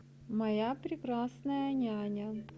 моя прекрасная няня